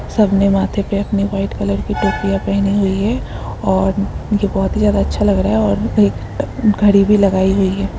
सबने माथे पे अपनी वाइट कलर की टोपिया पहनी हुई हैं और ये बहुत ही ज्यादा अच्छा लग रहा है और एक घड़ी भी लगाई हुई है।